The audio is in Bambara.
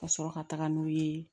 Ka sɔrɔ ka taga n'u ye